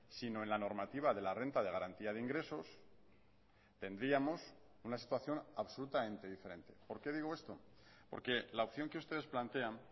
sino en la normativa de la renta de garantía de ingresos tendríamos una situación absolutamente diferente por qué digo esto porque la opción que ustedes plantean